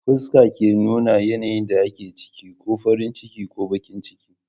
Fuskar ke nuna yanayin da ake ciki, ko farin ciki ko bakin ciki